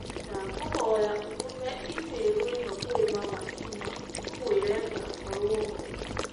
Nĩndakũhoya ũtũme i-mīrū ĩno kũrĩ mama Juma: ũmuĩre ngakorũo ho